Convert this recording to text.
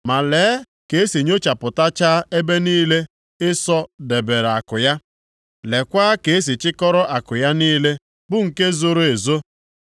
Ma lee ka e si nyochapụtachaa ebe niile Ịsọ debere akụ ya, lekwaa ka e si chịkọrọ akụ ya niile bụ nke zoro ezo!